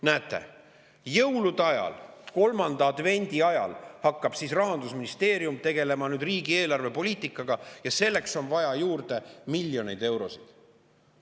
Näete, jõulude ajal, kolmanda advendi ajal hakkab Rahandusministeerium tegelema riigi eelarvepoliitikaga ja selleks on vaja juurde miljoneid eurosid.